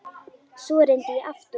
Svo reyndi ég aftur.